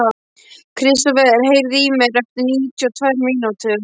Kristofer, heyrðu í mér eftir níutíu og tvær mínútur.